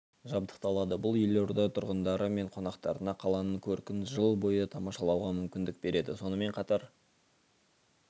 жабдықталады бұл елорда тұрғындары мен қонақтарына қаланың көркін жыл бойы тамашалауға мүмкіндік береді сонымен қатар